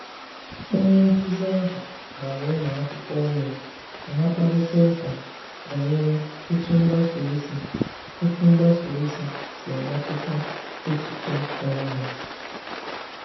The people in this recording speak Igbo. Onye nkuzi ahụ gbara ụmụ akwụkwọ ume ka ha kparịta ụka banyere otu mgbasa ozi otu mgbasa ozi si emetụta echiche onwe ha.